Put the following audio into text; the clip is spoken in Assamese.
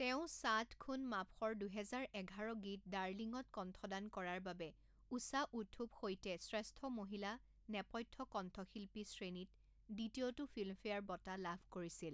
তেওঁ ছাত খুন মাফৰ দুহেজাৰ এঘাৰ গীত ডাৰ্লিং ত কণ্ঠদান কৰাৰ বাবে ঊষা উথুপ সৈতে শ্ৰেষ্ঠ মহিলা নেপথ্য কণ্ঠশিল্পী শ্ৰেণীত দ্বিতীয়টো ফিল্মফেয়াৰ বঁটা লাভ কৰিছিল।